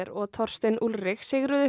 og Torsten Ullrich sigruðu